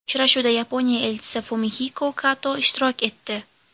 Uchrashuvda Yaponiya Elchisi Fumihiko Kato ishtirok etdi.